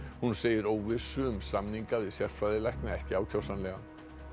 hún segir óvissu um samninga við sérfræðilækna ekki ákjósanlega